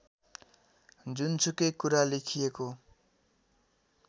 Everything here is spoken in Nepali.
जुनसुकै कुरा लेखिएको